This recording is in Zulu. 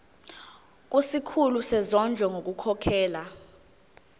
kusikhulu sezondlo ngokukhokhela